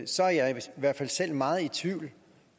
så er jeg i hvert fald selv meget i tvivl